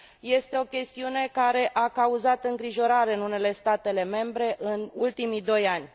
este o chestiune care a cauzat îngrijorare în unele state membre în ultimii doi ani.